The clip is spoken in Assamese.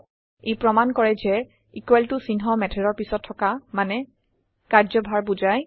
ই প্ৰমাণ কৰে যে equal ত চিহ্ন মেথদৰ পিছত থকা মানে কাৰ্য্যভাৰ বুজায়